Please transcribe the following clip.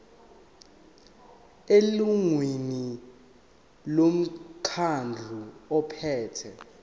elungwini lomkhandlu ophethe